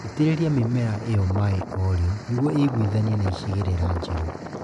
Itĩrĩria mĩmera ĩyo maĩĩ o rĩo nĩguo ĩiguithanie na icigĩrĩra njerũ